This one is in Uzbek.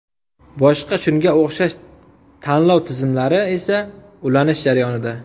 Boshqa shunga o‘xshash to‘lov tizimlari esa ulanish jarayonida.